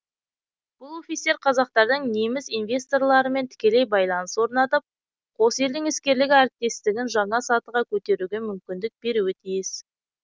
бұл офистер қазақтардың неміс инвесторларымен тікелей байланыс орнатып қос елдің іскерлік әріптестігін жаңа сатыға көтеруге мүмкіндік беруі тиіс